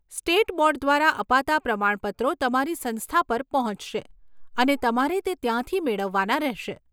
State board દ્વારા અપાતાં પ્રમાણપત્રો તમારી સંસ્થા પર પહોંચશે, અને તમારે તે ત્યાંથી મેળવવાના રહેશે.